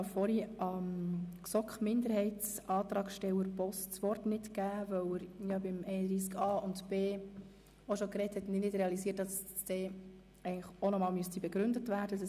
Ich habe vorhin Grossrat Boss als Sprecher für den GSoK-Minderheitsantrag das Wort nicht erteilt, weil er bereits zu den Artikeln 31a und 31b gesprochen hat und ich nicht realisiert habe, dass sein Antrag zu Artikel 31c auch begründet werden sollte.